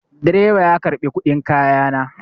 Direba ya karɓi kuɗin kaya na.